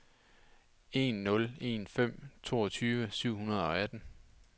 en nul en fem toogtyve syv hundrede og atten